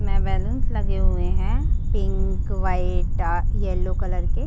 मे balloons लगे हुए है pink white dark yellow colour के --